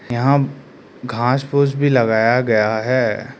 यहां घास फूस भी लगाया गया है।